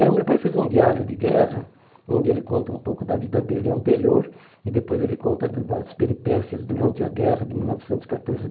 É, o meu pai fez um diário de guerra, onde ele conta um pouco da vida dele anterior e depois ele conta do das peripécias durante a guerra de mil novecentos e catorze